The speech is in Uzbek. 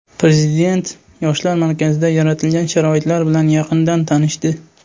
Prezident Yoshlar markazida yaratilgan sharoitlar bilan yaqindan tanishdi.